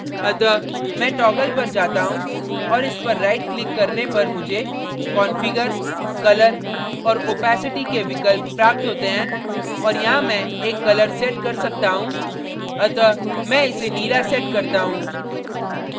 अतः मैं toggle पर जाता हूँ और इस पर राईट क्लिक करने पर मुझे configure colour और opacity के विकल्प प्राप्त होते हैं और यहाँ मैं एक color set कर सकता हूँ अतः मैं इसे नीला set करता हूँ